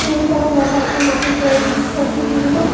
School ಕೊಡೋ homework ನೆ ಮಾಡತತ್ತ್ ಇಲ್ಲಾ ಇನ್ ಬುಕ್ ಓತಿದ್ನ ನಾನು.